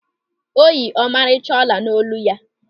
O yi ọmarịcha ọla n'olu ya.